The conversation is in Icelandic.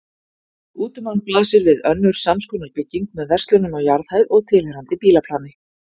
Út um hann blasir við önnur samskonar bygging með verslunum á jarðhæð og tilheyrandi bílaplani.